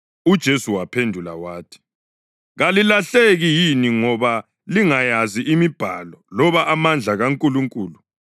UJesu waphendula wathi, “Kalilahleki yini ngoba lingayazi imibhalo loba amandla kaNkulunkulu?